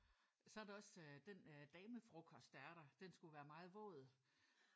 Så er der også den øh damefrokost der er der. Den skulle være meget våd